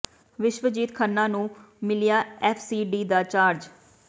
ਵਿਸ਼ਵਜੀਤ ਖੰਨਾ ਨੂੰ ਮਿਲਿਆ F C D ਦਾ ਚਾਰਜ